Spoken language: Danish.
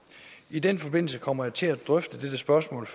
i den forbindelse kommer jeg til at drøfte dette spørgsmål